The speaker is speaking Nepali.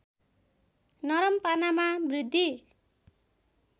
नरम पनामा वृद्धि